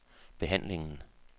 behandlingen